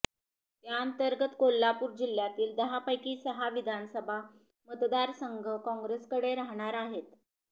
त्यांतर्गत कोल्हापूर जिल्ह्यातील दहापैकी सहा विधानसभा मतदारसंघ काँग्रेसकडे राहणार आहेत